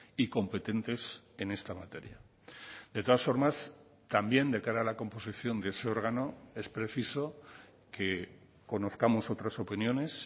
y competentes en esta materia de todas formas también de cara a la composición de ese órgano es preciso que conozcamos otras opiniones